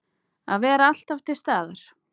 Að vera alltaf til staðar.